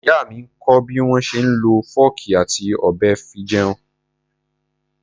Ìyá mi ń kọ́ bí wọ́n ṣe ń lọ fọ́ọ̀kì àti ọ̀bẹ fi jẹun.